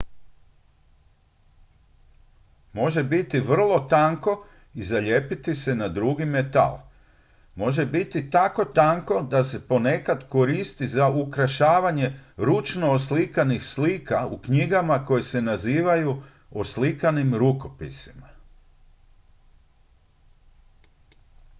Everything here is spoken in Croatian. "može biti vrlo tanko i zalijepiti se na drugi metal. može biti tako tanko da se ponekad koristi za ukrašavanje ručno oslikanih slika u knjigama koje se nazivaju "oslikanim rukopisima"".